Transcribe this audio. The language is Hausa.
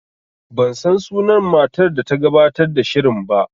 Ban san sunan matar da ta gabatar da shirin